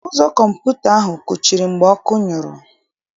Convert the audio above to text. Ụzọ kọmputa ahụ kụchiri mgbe ọkụ nyụrụ.